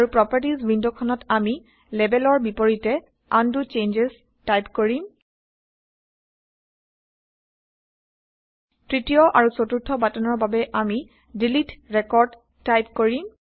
আৰু প্ৰপাৰ্টিজ ৱিণ্ডখনত আমি Labelৰ বিপৰীতে উণ্ড চেঞ্জছ টাইপ কৰিম